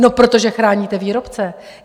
No protože chráníte výrobce.